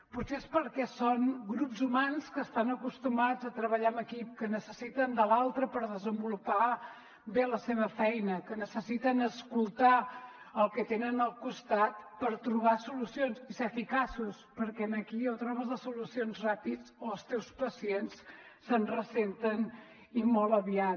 potser és perquè són grups humans que estan acostumats a treballar en equip que necessiten de l’altre per desenvolupar bé la seva feina que necessiten escoltar el que tenen al costat per trobar solucions i ser eficaços perquè aquí o trobes les solucions ràpid o els teus pacients se’n ressenten i molt aviat